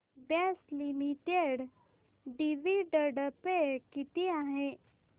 Bosch limited dividend pay किती आहे